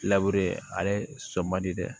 ale sɔ man di dɛ